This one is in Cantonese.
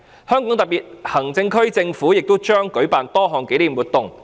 香港特區政府也將舉辦多項紀念活動。